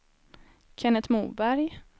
Kennet Moberg